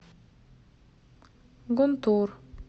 гунтур